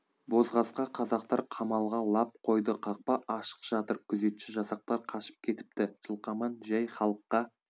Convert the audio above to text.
бозқасқа қазақтар қамалға лап қойды қақпа ашық жатыр күзетші жасақтар қашып кетіпті жылқаман жәй халыққа